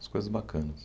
As coisas bacanas.